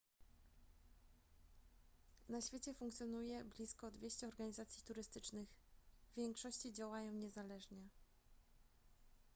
na świecie funkcjonuje blisko 200 organizacji turystycznych w większości działają niezależnie